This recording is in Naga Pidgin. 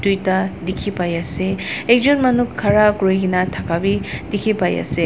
tuita dikhi paiase ekjon manu khara kurikae na thaka bi dikhipaiase.